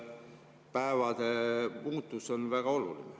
Päevade muutus on väga oluline.